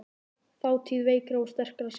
Þátíð veikra og sterkra sagna.